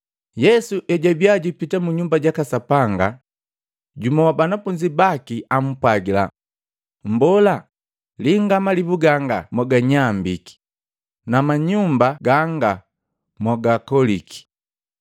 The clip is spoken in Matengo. Yesu ejwabia jupita mu Nyumba jaka Sapanga jumu wa banafunzi baki ampwagila, “Mbola, linga malibu ganga moganyambiki na manyumba gaanga mogakoliki!”